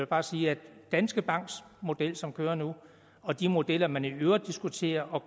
bare sige at danske banks model som kører nu og de modeller som man i øvrigt diskuterer og